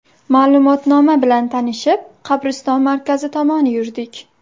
Ma’lumotnoma bilan tanishib, qabriston markazi tomon yurdik.